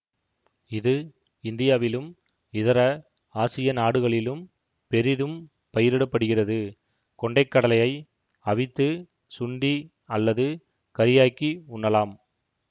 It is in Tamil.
இது இந்தியாவிலும் இதர ஆசிய நாடுகளிலும் பெரிதும் பயிரிடப்படுகிறது கொண்டை கடலையை அவித்து சுண்டி அல்லது கறியாக்கி உண்ணலாம்